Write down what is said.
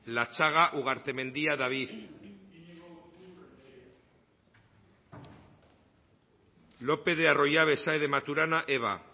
latxaga ugartemendia david lopez de arroyabe saez de maturana eva